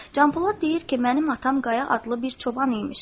Canpolad deyir ki, mənim atam Qaya adlı bir çoban imiş.